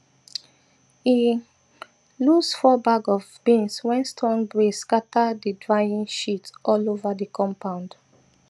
e lose four bag of beans when strong breeze scatter the drying sheet all over the compound